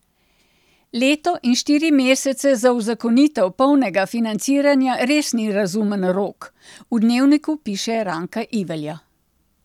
Leto in štiri mesece za uzakonitev polnega financiranja res ni razumen rok, v Dnevniku piše Ranka Ivelja.